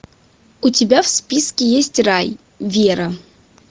у тебя в списке есть рай вера